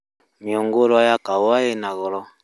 Mĩngũrwa ya kahũa ĩna goro